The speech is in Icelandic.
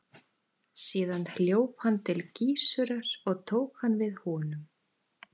Síðan hljóp hann til Gissurar og tók hann við honum.